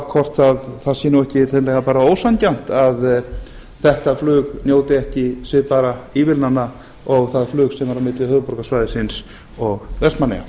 hvort það sé bara ekki hreinlega ósanngjarnt að þetta flug njóti ekki svipaðra ívilnana og það flug sem er á milli höfuðborgarsvæðisins og vestmannaeyja